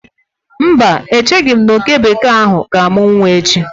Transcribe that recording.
Mba, echeghị m na oke bekee ahu ga-amụ nwa echi